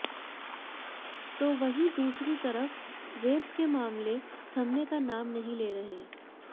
तो वहीं दूसरी तरफ रेप के मामले थमने का नाम नहीं ले रहे